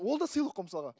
ол да сыйлық қой мысалға